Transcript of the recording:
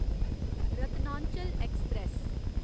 Ratnachal express